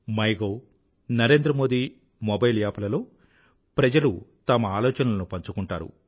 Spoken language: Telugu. my gov Narendra Modi mobile app లలో ప్రజలు తమ ఆలోచనలను పంచుకుంటారు